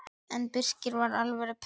En Birkir var alvöru prins.